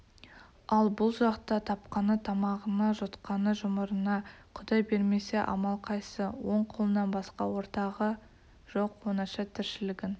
ал бұл жақта тапқаны тамағына жұтқаны жұмырына құдай бермесе амал қайсы он қолынан басқа ортағы жоқ оңаша тіршілігін